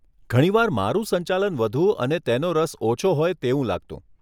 ઘણી વાર મારું સંચાલન વધુ અને તેનો રસ ઓછો હોય તેવું લાગતું.